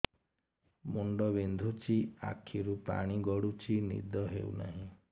ମୁଣ୍ଡ ବିନ୍ଧୁଛି ଆଖିରୁ ପାଣି ଗଡୁଛି ନିଦ ହେଉନାହିଁ